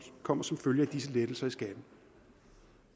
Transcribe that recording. kommer som følge af disse lettelser i skatten